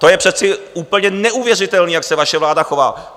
To je přece úplně neuvěřitelný, jak se vaše vláda chová!